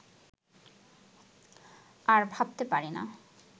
আর ভাবতে পারি না